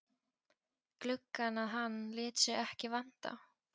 gluggann að hann lét sig ekki vanta.